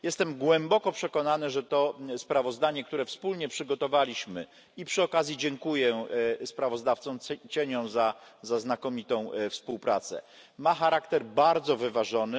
Jestem głęboko przekonany, że to sprawozdanie, które wspólnie przygotowaliśmy, i przy okazji dziękuję kontrsprawozdawcom za znakomitą współpracę ma charakter bardzo wyważony.